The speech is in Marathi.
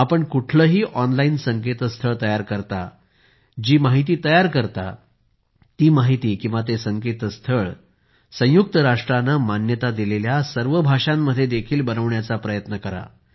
आपण कुठलेही ऑनलाईन संकेतस्थळ तयार करता जी काही माहिती तयार करता ती संयुक्त राष्ट्राने मान्यता दिलेल्या सर्व भाषांमध्ये देखील बनवण्याचा प्रयत्न करा